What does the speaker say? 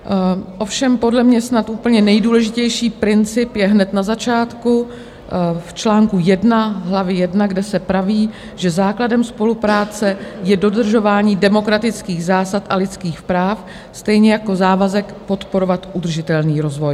Ovšem podle mě snad úplně nejdůležitější princip je hned na začátku v čl. 1 hlavy 1, kde se praví, že základem spolupráce je dodržování demokratických zásad a lidských práv, stejně jako závazek podporovat udržitelný rozvoj.